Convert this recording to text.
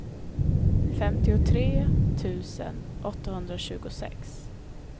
femtiotre tusen åttahundratjugosex